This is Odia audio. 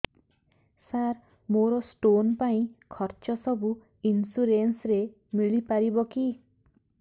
ସାର ମୋର ସ୍ଟୋନ ପାଇଁ ଖର୍ଚ୍ଚ ସବୁ ଇନ୍ସୁରେନ୍ସ ରେ ମିଳି ପାରିବ କି